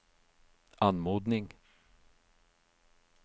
anmodning